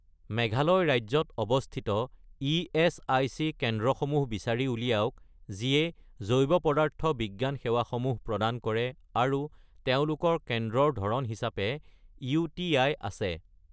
মেঘালয় ৰাজ্যত অৱস্থিত ইএচআইচি কেন্দ্ৰসমূহ বিচাৰি উলিয়াওক যিয়ে জৈৱপদাৰ্থ বিজ্ঞান সেৱাসমূহ প্ৰদান কৰে আৰু তেওঁলোকৰ কেন্দ্ৰৰ ধৰণ হিচাপে ইউ.টি.আই. আছে।